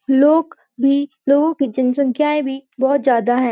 लोग भी लोगों की जनसंख्याएँ भी बहुत ज्यादा हैं।